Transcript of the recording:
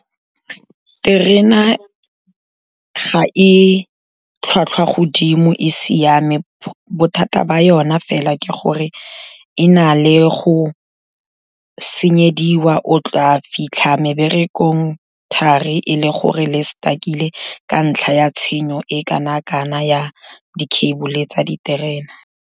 Terena ga e tlhwatlhwa godimo e siame, bothata ba ona fela ke gore e na le go senyediwa, o tla fitlha meberekong thari e le gore ne e stuckile ka ntlha ya tshenyo e kana-kana ya di-cable-e tsa diterena.